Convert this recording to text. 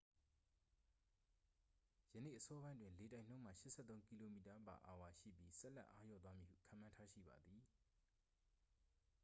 ယနေ့အစောပိုင်းတွင် လေတိုက်နှုန်းမှာ 83 km/h ရှိပြီး ဆက်လက်အားလျော့သွားမည်ဟု ခန့်မှန်းထားရှိပါသည်